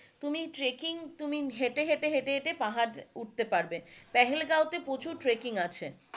তুমি ট্রেককিং তুমি হেঁটে হেঁটে হেঁটে হেঁটে পাহাড় উঠতে পারবে পেহেলগাঁও তে প্রচুর ট্রেককিং আছে,